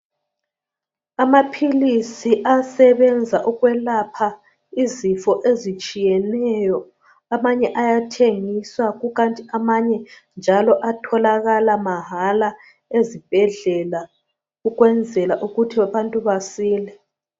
Amaphilisi asebenza ukwelapha izifo ezitshiyeneyo. Amanye ayathengiswa kukanti amanye njalo atholakala mahala ezibhedlela ukwenzela ukuthi abantu basile.